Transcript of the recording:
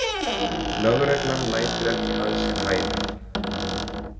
Lögreglan lætur ekki að sér hæða.